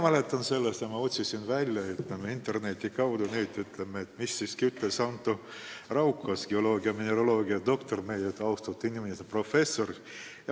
Mul oli see meeles ja ma otsisin interneti abil välja, mida ütles professor Anto Raukas, geoloogia-mineraloogiadoktor, väga austatud inimene.